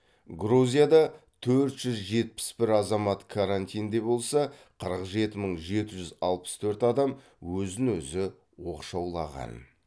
грузияда төрт жүз жетпіс бір азамат карантинде болса қырық жеті мың жеті жүз алпыс төрт адам өзін өзі оқшаулаған